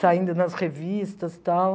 Saindo nas revistas e tal.